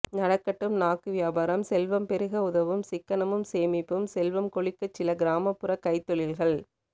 நடக்கட்டும் நாக்கு வியாபாரம் செல்வம் பெருக உதவும் சிக்கனமும் சேமிப்பும் செல்வம் கொழிக்கச் சில கிராமப்புறக் கைத் தொழில்கள்